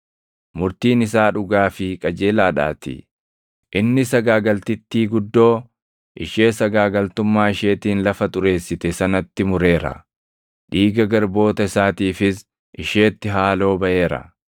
murtiin isaa dhugaa fi qajeelaadhaatii. Inni sagaagaltittii guddoo, ishee sagaagaltummaa isheetiin lafa xureessite sanatti mureera; dhiiga garboota isaatiifis isheetti haaloo baʼeera.”